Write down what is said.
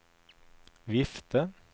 vifte